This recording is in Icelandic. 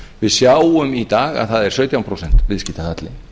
við sjáum í dag að það er sautján prósent viðskiptahalli